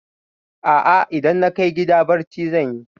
A'a, idan na kai gida barci zan yi.